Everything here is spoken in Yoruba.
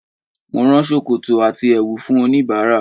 Mo rán ṣòkòtò àti ẹ̀wù fún oníbàárà,